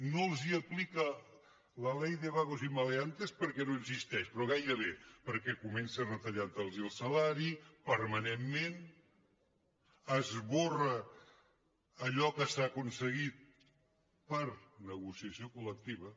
no els aplica la ley de vagos y maleantes perquè no existeix però gairebé perquè comença retallant los el salari permanentment esborra allò que s’ha aconseguit per negociació col·lectiva